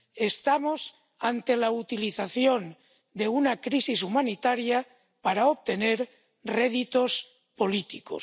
Estamos ante la utilización de una crisis humanitaria para obtener réditos políticos.